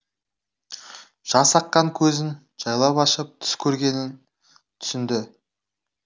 жас аққан көзін жайлап ашып түс көргенін түсінді